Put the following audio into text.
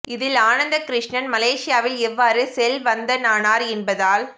இதில் ஆனந்த கிருஸ்ணன் மலேசியாவில் எவ்வாறு செல்வந்தனானார் என்பதால்